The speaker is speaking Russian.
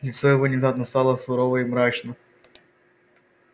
лицо его внезапно стало сурово и мрачно